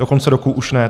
Do konce roku už ne.